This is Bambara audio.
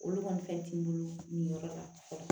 Olu kɔni fɛn ti n bolo nin yɔrɔ la